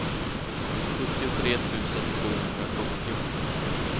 sjuttiotre tusen sjuhundrasjuttio